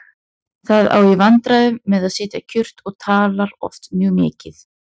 Það á í vandræðum með að sitja kyrrt og talar oft mjög mikið.